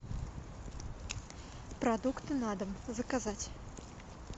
продукты на дом заказать